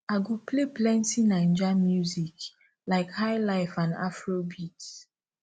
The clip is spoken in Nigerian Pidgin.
i go play plenty naijas music like highlife and afrobeat